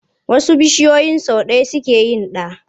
Wasu bishiyoyin sau ɗaya suke yin ɗa.